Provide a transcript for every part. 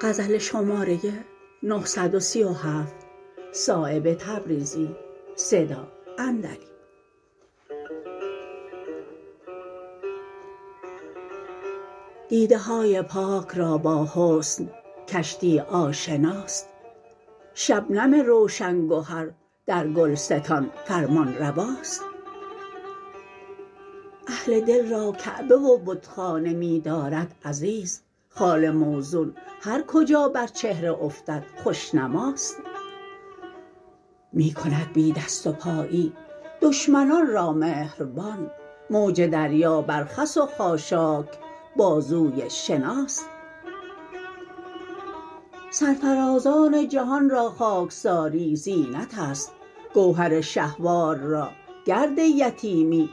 دیده های پاک را با حسن کشتی آشناست شبنم روشن گهر در گلستان فرمانرواست اهل دل را کعبه و بتخانه می دارد عزیز خال موزون هر کجا بر چهره افتد خوشنماست می کند بی دست و پایی دشمنان را مهربان موج دریا بر خس و خاشاک بازوی شناست سرفرازان جهان را خاکساری زینت است گوهر شهوار را گرد یتیمی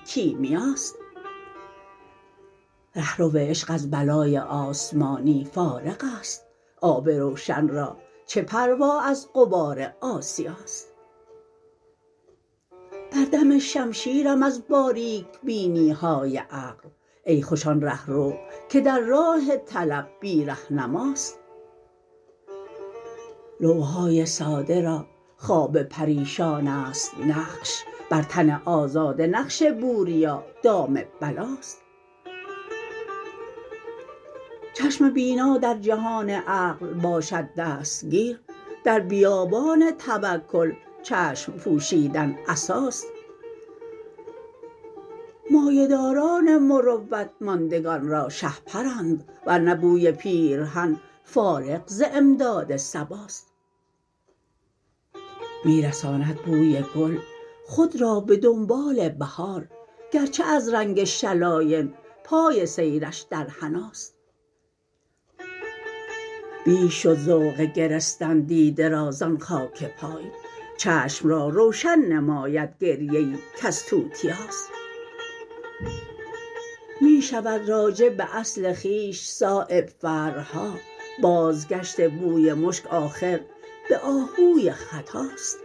کیمیاست رهرو عشق از بلای آسمانی فارغ است آب روشن را چه پروا از غبار آسیاست بر دم شمشیرم از باریک بینی های عقل ای خوش آن رهرو که در راه طلب بی رهنماست لوح های ساده را خواب پریشان است نقش بر تن آزاده نقش بوریا دام بلاست چشم بینا در جهان عقل باشد دستگیر در بیابان توکل چشم پوشیدن عصاست مایه داران مروت ماندگان را شهپرند ورنه بوی پیرهن فارغ ز امداد صباست می رساند بوی گل خود را به دنبال بهار گرچه از رنگ شلاین پای سیرش در حناست بیش شد ذوق گرستن دیده را زان خاک پای چشم را روشن نماید گریه ای کز توتیاست می شود راجع به اصل خویش صایب فرع ها بازگشت بوی مشک آخر به آهوی ختاست